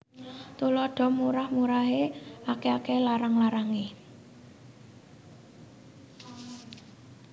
Tuladha Murah murahé akèh akèhé larang larangé